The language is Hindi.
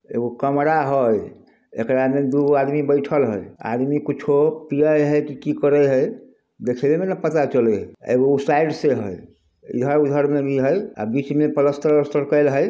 एक गो कमरा हाय एक लाइन में दो आदमी बैठल हाय आदमी कुच्छो पियल है की करे है देखने में ना पता चले हैएकगो साइड से है इधर उधर में भी है बीच में प्लास्टर ऊलास्तर कराल है।